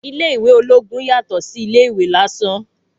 Ilé ìwé ológun yàtọ̀ sí ilé ìwé lásán